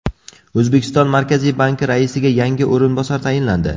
O‘zbekiston Markaziy banki raisiga yangi o‘rinbosar tayinlandi.